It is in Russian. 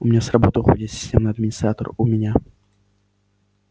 у меня с работы уходит системный администратор у меня